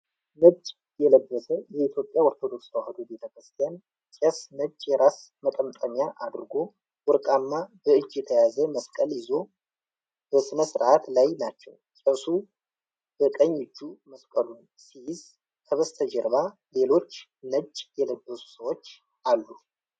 ነጭ የለበሰ የኢትዮጵያ ኦርቶዶክስ ተዋሕዶ ቤተ ክርስቲያን ቄስ ነጭ የራስ መጠምጠሚያ አድርጎ ወርቃማ በእጅ የተያዘ መስቀል ይዞ በሥነ ስርዓት ላይ ናቸው። ቄሱ በቀኝ እጁ መስቀሉን ሲይዝ ከበስተጀርባ ሌሎች ነጭ የለበሱ ሰዎች አሉ።